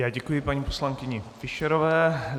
Já děkuji paní poslankyni Fischerové.